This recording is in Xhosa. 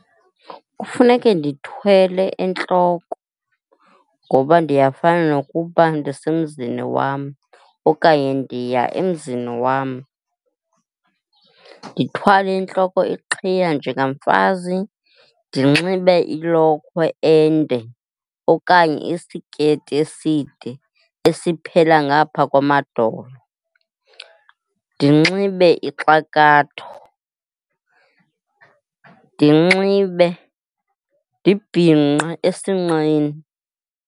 Kufuneke ndithwale entloko ngoba ndiyafana nokuba ndisemanzini wam okanye ndiya emzini wam. Ndithwale entloko iqhiya njengamfazi, ndinxibe ilokhwe ende okanye isiketi eside, esiphela ngaphaa kwamadolo. Ndinxibe ixakatho, ndinxibe, ndibhinqe esinqeni.